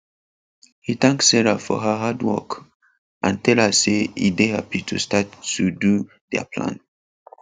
he thank sarah for her hard work and tell her say e dey happy to start to do their plan